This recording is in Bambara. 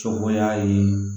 Cɔbɔya ye